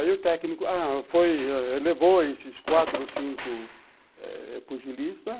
Aí o técnico a levou esses quatro ou cinco eh pugilistas,